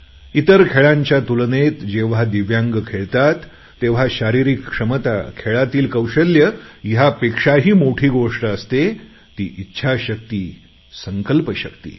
इतर खेळांच्या तुलनेत जेव्हा दिव्यांग खेळतात तेव्हा शारीरिक क्षमता खेळातील कौशल्य ह्यापेक्षाही मोठी गोष्ट असते टी इच्छाशक्ती संकल्पशक्ती